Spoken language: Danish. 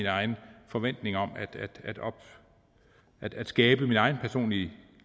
egen forventning om at skabe ens egen personlige